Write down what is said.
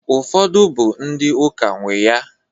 Ufodu bụ ndị ụka nwee ya